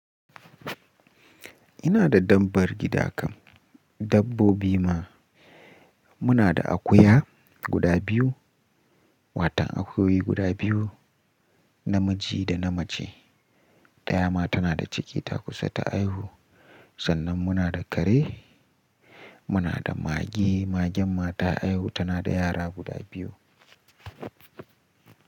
Ina da dabbar gida kam, dabbobi ma. Muna da akuya guda biyu, watan akuyoyi guda biyu, namiji da namace. Daya ma tana da cikinta kusa ta haihu. Sannan muna da kare, muna da mage, magen ma ta haihu tana da yara guda biyu.